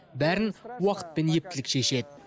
бәрін уақыт пен ептілік шешеді